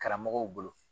Karamɔgɔw bolo